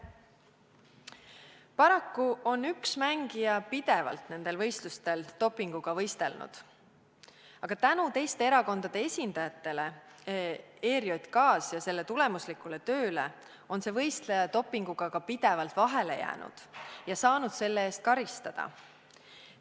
Paraku on üks mängija nendel võistlustel pidevalt dopinguga võistelnud, aga tänu teiste erakondade esindajatele ERJK-s ja selle tulemuslikule tööle on see võistleja dopinguga pidevalt ka vahele jäänud ja saanud selle eest karistada.